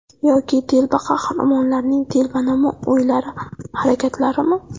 Yoki telba qahramonlarning telbanamo o‘ylari, harakatlarimi?